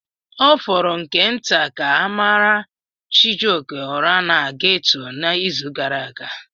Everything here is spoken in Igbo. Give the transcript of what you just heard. Ọ fọrọ nke nta ka a mara Chijioke ụra na ghetto n'izu gara aga.